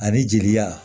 Ani jeliya